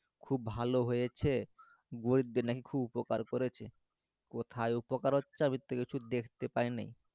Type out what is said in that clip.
খুব ভালো হয়েছে গরিবদের নাকি উপকার করেছে কোথায় উপকার আমি তো কিছু দেখতে পাই নাই